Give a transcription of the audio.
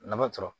Nafa sɔrɔ